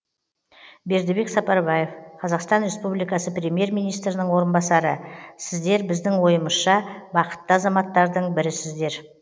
бердібек сапарбаев қазақстан республикасы премьер министрінің орынбасары сіздер біздің ойымызша бақытты азаматтардың бірісіздер